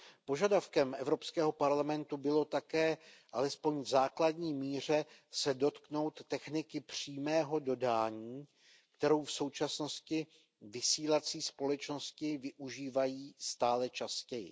Požadavkem Evropského parlamentu bylo také alespoň v základní míře se dotknout techniky přímého dodání, kterou v současnosti vysílací společnosti využívají stále častěji.